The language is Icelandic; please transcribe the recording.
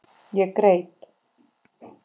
Ég greip